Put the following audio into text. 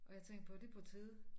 Og jeg tænkte på det på tide